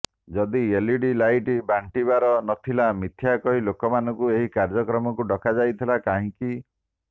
ଯଦି LED light ବାଣ୍ଟିବାର ନଥିଲା ମିଥ୍ୟା କହି ଲୋକମାନଙ୍କୁ ଏହି କାଯ୍ୟକ୍ରମକୁ ଡକା ଯାଇଥିଲା କାହିଁକି